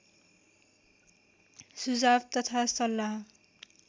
सुझाव तथा सल्लाह